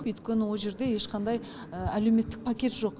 өйткені ол жерде ешқандай әлеуметтік пакет жоқ